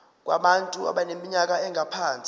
kubantu abaneminyaka engaphansi